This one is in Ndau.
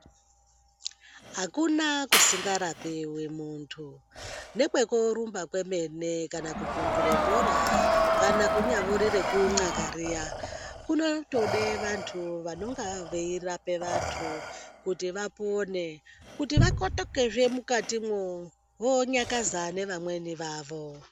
Hakuna kusingarapiwi muntu, nekwekorumba kwemene kana kuvhundure bhora, kana kunyambori rekunxaka riya, kunotode vantu vanonga veirapa vantu kuti vapone, kuti vakotokezve mukatimwo, vonyakaza nevamweni vavo.